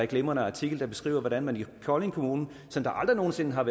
glimrende artikel der beskriver hvordan man i kolding kommune som aldrig nogen sinde har